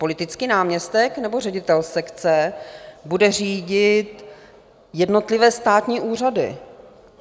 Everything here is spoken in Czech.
Politický náměstek, nebo ředitel sekce bude řídit jednotlivé státní úřady?